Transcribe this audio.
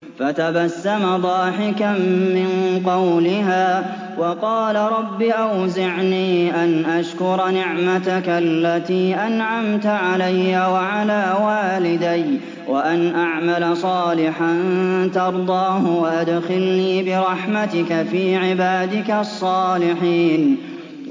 فَتَبَسَّمَ ضَاحِكًا مِّن قَوْلِهَا وَقَالَ رَبِّ أَوْزِعْنِي أَنْ أَشْكُرَ نِعْمَتَكَ الَّتِي أَنْعَمْتَ عَلَيَّ وَعَلَىٰ وَالِدَيَّ وَأَنْ أَعْمَلَ صَالِحًا تَرْضَاهُ وَأَدْخِلْنِي بِرَحْمَتِكَ فِي عِبَادِكَ الصَّالِحِينَ